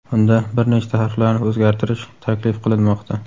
Unda bir nechta harflarni o‘zgartiish taklif qilinmoqda.